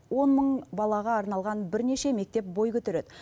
он мың балаға арналған бірнеше мектеп бой көтереді